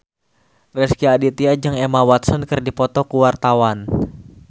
Rezky Aditya jeung Emma Watson keur dipoto ku wartawan